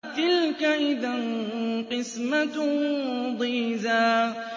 تِلْكَ إِذًا قِسْمَةٌ ضِيزَىٰ